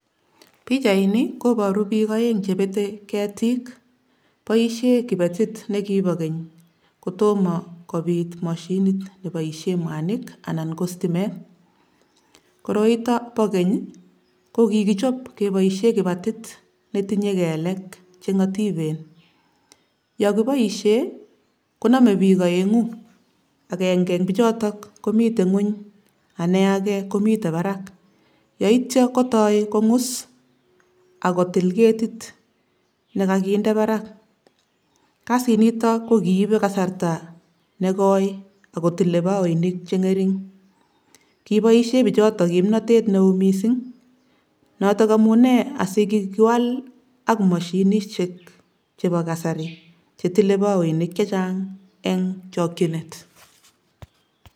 Pichaini koboru piik aeng che betei ketik, boisie kibetit ne kibo keny kotomo kobit mashinit neboisie mwanik anan ko stimet, koroito bo keny ii, kokichop keboisie kibatit ne tinye kelek che ngotipen. Yo kiboisie konome piik aengu, akenge ing pichoto komitei nguny ane age komite barak, yaityo kotoi kongus ako til ketit ne kakinde barak, kasinito ko kiibe kasarta ne koi ak kotile baoinik che ngering, kiboisie pichoto kimnotet ne oo mising, notok amune asi kikiwal ak mashinisiek chebo kasari che tilei baoinik chechang eng chokchinet.